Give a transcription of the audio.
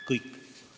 Kõik.